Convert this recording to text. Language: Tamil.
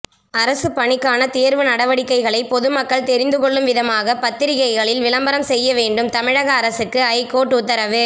அரசு பணிக்கான தேர்வு நடவடிக்கைகளை பொதுமக்கள் தெரிந்துகொள்ளும் விதமாக பத்திரிகைகளில் விளம்பரம் செய்யவேண்டும் தமிழக அரசுக்கு ஐகோர்ட்டு உத்தரவு